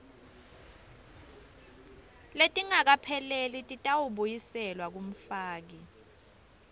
letingakapheleli titawubuyiselwa kumfaki